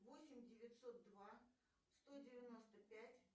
восемь девятьсот два сто девяносто пять